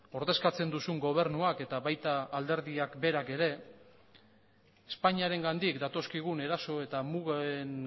ordezkatzen duzun gobernuak eta baita alderdiak berak ere espainiarengandik datozkigun eraso eta mugen